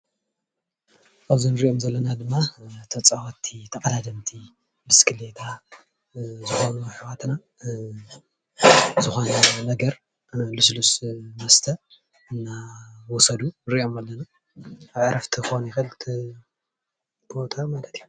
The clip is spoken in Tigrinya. እብዚ እንሪኦም ዘለና ድማ ተፃወትቲ ተቀዳደምቲ ብስኪሊታ ኣሕዋትና ዝኮነ ነገር ልስሉስ መስተ እናወሰዱ ንሪኦም ኣለና፡፡ ኣብ ዕረፍቲ ክኮን ይክእል እቲ ቦታ ማለት እዩ ፡፡